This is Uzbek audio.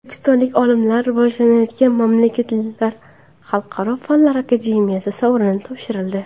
O‘zbekistonlik olimlarga Rivojlanayotgan mamlakatlar xalqaro fanlar akademiyasi sovrini topshirildi.